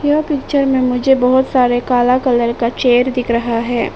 यह पिक्चर में मुझे बहुत सारे काला कलर का चेयर दिख रहा है।